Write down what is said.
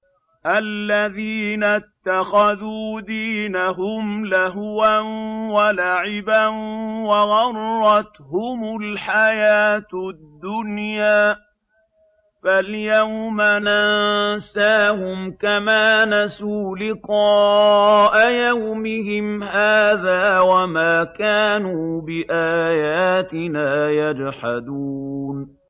الَّذِينَ اتَّخَذُوا دِينَهُمْ لَهْوًا وَلَعِبًا وَغَرَّتْهُمُ الْحَيَاةُ الدُّنْيَا ۚ فَالْيَوْمَ نَنسَاهُمْ كَمَا نَسُوا لِقَاءَ يَوْمِهِمْ هَٰذَا وَمَا كَانُوا بِآيَاتِنَا يَجْحَدُونَ